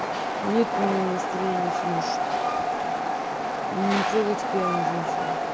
нет у меня настроения сегодня шутить не трогайте пьяных женщин